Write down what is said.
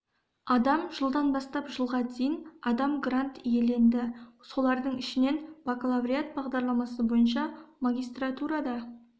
адам жылдан бастап жылға дейін адам грант иеленді солардың ішінен бакалавриат бағдарламасы бойынша магистратурада